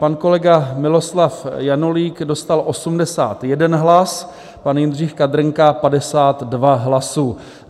Pan kolega Miloslav Janulík dostal 81 hlasů, pan Jindřich Kadrnka 52 hlasů.